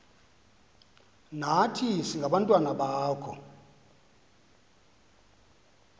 nathi singabantwana bakho